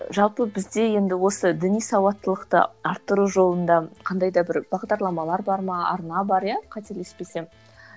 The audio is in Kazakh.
жалпы бізде енді осы діни сауаттылықты арттыру жолында қандай да бір бағдарламалар бар ма арна бар иә қателеспесем